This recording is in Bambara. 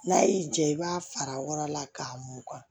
N'a y'i jaa i b'a fara wara la k'a mugan